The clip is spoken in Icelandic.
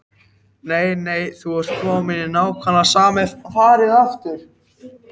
Nei, nei, þú ert kominn í nákvæmlega sama farið aftur.